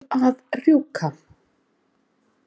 Verð að rjúka.